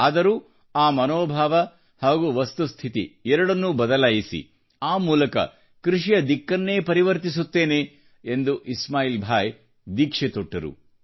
ಆದರೂ ಆ ಮನೋಭಾವ ಹಾಗೂ ವಸ್ತುಸ್ಥಿತಿ ಎರಡನ್ನೂ ಬದಲಾಯಿಸಿ ಆ ಮೂಲಕ ಕೃಷಿಯ ದಿಕ್ಕನ್ನೇ ಪರಿವರ್ತಿಸುತ್ತೇನೆ ಎಂದು ಇಸ್ಮಾಯಿಲ್ಭಾಯಿ ದೀಕ್ಷೆ ತೊಟ್ಟರು